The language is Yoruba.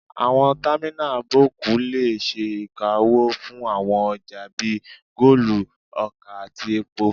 Àwọn támínà bọ́ọ̀kù lè ṣe ìkáwọ́ fún àwọn ọjà bíi kóòlù, ọkà àti epo